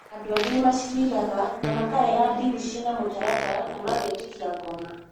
Andũ angĩ nĩ macĩriraga na makarega ndini ciĩna mũtaratara na magetĩkia ngomi.